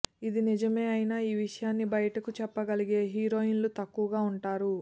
ఇది నిజమే అయినా ఈ విషయాన్ని బయటకు చెప్పగలిగే హీరోయిన్లు తక్కువగా ఉంటారు